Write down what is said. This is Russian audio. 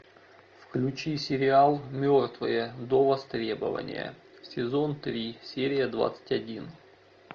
включи сериал мертвые до востребования сезон три серия двадцать один